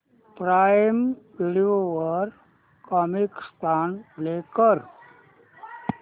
prime video वर Comicstaan play कर